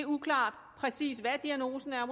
uklart præcis hvad diagnosen er